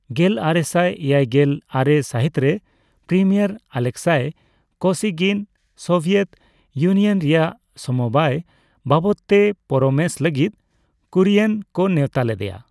ᱜᱮᱞᱟᱨᱮᱥᱟᱭ ᱮᱭᱟᱭᱜᱮᱞ ᱟᱨᱮ ᱥᱟᱹᱦᱤᱛᱨᱮ, premier Alexei Kosygin Soviet Union ᱨᱮᱭᱟᱜ ᱥᱚᱢᱚᱵᱟᱭ ᱵᱟᱵᱚᱫᱛᱮ ᱯᱚᱨᱟᱢᱮᱥ ᱞᱟᱹᱜᱤᱫ ᱠᱩᱨᱤᱭᱮᱱ ᱠᱚ ᱱᱮᱣᱛᱟ ᱞᱮᱫᱮᱭᱟ ᱾